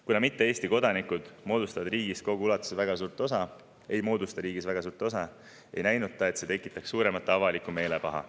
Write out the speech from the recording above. Kuna mitte Eesti kodanikud ei moodusta riigis väga suurt osa, ei näinud ta, et see tekitaks suuremat avalikku meelepaha.